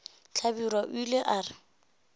hlabirwa o ile a re